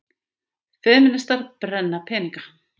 Femínistar brenna peninga